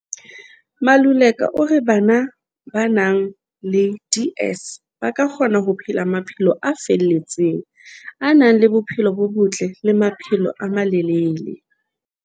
Maluleka o re bana ba nang le DS ba kgona ho phela maphelo a felletseng, a nang le bophelo bo botle le maphelo a malelele.